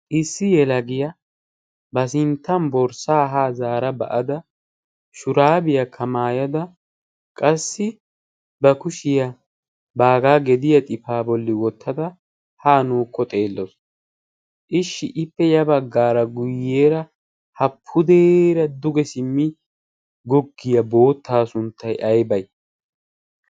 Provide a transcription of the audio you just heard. issi yela giyaa ba sinttan borssaa haa zaara ba'ada shuraabiyaa kamaayada qassi ba kushiyaa baagaa gediya xifaa bolli wottada haa na'ukko xeelloos ishshi ippe ya baggaara guyyeera hapudeera duge simmi goggiyaa boottaa sunttai aybee?